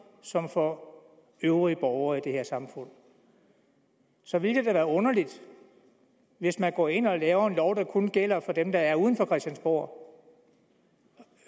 som for øvrige borgere i det her samfund så vil det da være underligt hvis man går ind og laver en lov der kun gælder for dem der er uden for christiansborg